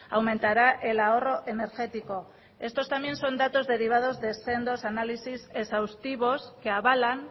aumentará el ahorro energético estos también son datos derivados de sendos análisis exhaustivos que avalan